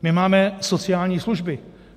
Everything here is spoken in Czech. My máme sociální služby.